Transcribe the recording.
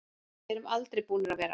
Við erum aldrei búnir að vera.